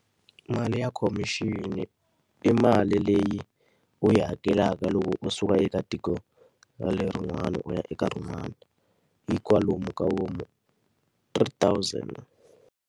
Mali ya khomixini i mali leyi u yi hakelaka loko u suka eka tiko ra lerin'wani u ya eka rin'wana, hi kwalomu ka vo ma three thousand.